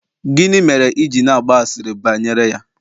gini mere i ji na-agba asịrị bayere ya?